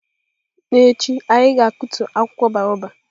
N'echi, anyị ga-akụtu akwụkwọ baobab.